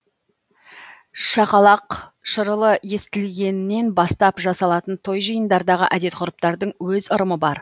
шақалақ шырылы естілгеннен бастап жасалатын той жиындардағы әдет ғұрыптардың өз ырымы бар